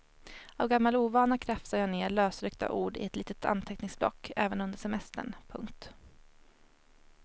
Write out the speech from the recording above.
Av gammal ovana krafsar jag ned lösryckta ord i ett litet anteckningsblock även under semestern. punkt